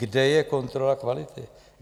Kde je kontrola kvality?